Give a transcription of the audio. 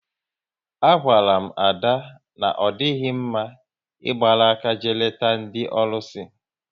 A gwara m Ada na ọ dịghị mma ịgbara áká jee leta ndị ọlụsị